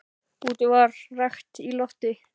Úti var enn rakt í lofti.